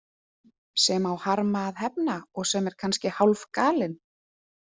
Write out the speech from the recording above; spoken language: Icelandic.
Sem á harma að hefna og sem er kannski hálfgalinn.